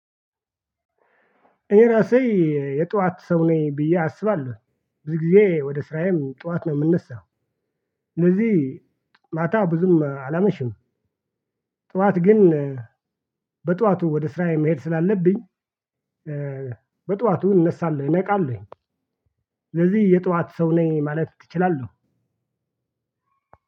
እኔ ራሴ የጧት ሰው ነኝ ብዬ አስባለሁ ብዙ ጊዜ ወደ ስራዬም ጧት ነው የምነሳው ስለዚህ ማታ ብዙም አላመሽም። ጠዋት ግን በጠዋቱ ወደ ስራዬ መሄድ ስላለብኝ። በጠዋቱ እነሳለሁኝ እነቃለሁኝ። ስለዚህ የጧት ሰው ነኝ ማለት እችላለሁ።